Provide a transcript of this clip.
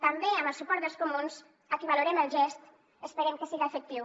també amb el suport dels comuns a qui valorem el gest esperem que siga efectiu